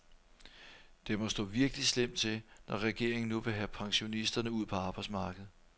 Det må stå virkelig slemt til, når regeringen nu vil have pensionisterne ud på arbejdsmarkedet.